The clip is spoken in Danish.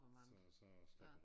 Så så stopper